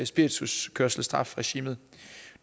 spirituskørselstrafregimet